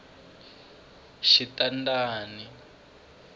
xitandani